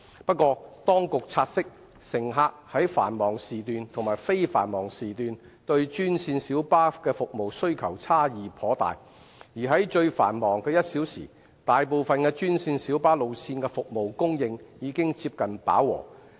不過，當局察悉，乘客在繁忙時段和非繁忙時段對專線小巴服務的需求差異頗大，而在最繁忙的1小時，大部分專線小巴路線的服務供應已接近飽和。